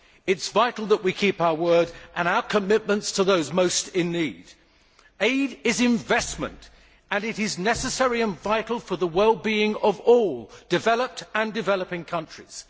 It is vital that we keep our word and our commitments to those most in need. Aid is investment, and it is necessary and vital for the wellbeing of all developed and developing countries.